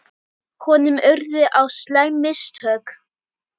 Honum urðu á slæm mistök.